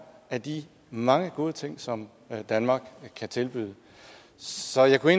af de mange gode ting som danmark kan tilbyde så jeg kunne